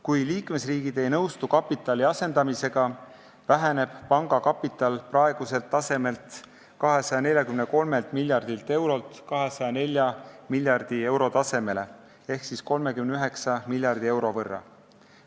Kui liikmesriigid ei nõustu kapitali asendamisega, väheneb panga kapital praeguselt tasemelt, 243 miljardilt eurolt 204 miljardi euro tasemele ehk 39 miljardi euro võrra.